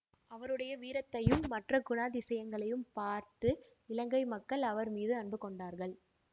அவருடைய வீரத்தையும் மற்ற குணாதிசயங்களையும் பார்த்து இலங்கை மக்கள் அவர் மீது அன்பு கொண்டார்கள்